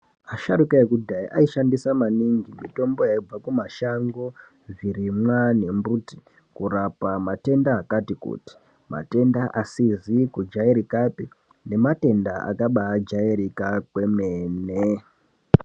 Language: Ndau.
Asharuka ekudhaya aishandisa maningi mitombo yaibva kumashango, zvirimwa nembuti kurapa matenda akati kuti, matenda asizi kujairikapi nematenda akabaijairika kwemene.